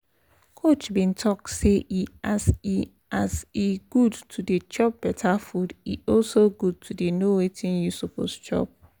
coach been talk say e as e as e good to dey chop better food e also good to dey know wetin you suppose chop